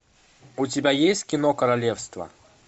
у тебя есть кино королевство